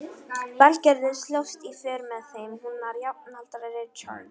Valgerður slóst í för með þeim, hún var jafnaldra Richards.